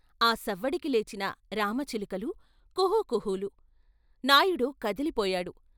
ఆ సవ్వడికి లేచిన రామచిలుకలు కుహూ కుహూలు, నాయుడు కదిలిపోయాడు.